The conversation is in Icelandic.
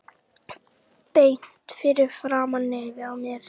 Beint fyrir framan nefið á mér!